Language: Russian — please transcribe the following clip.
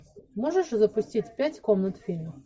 можешь запустить пять комнат фильм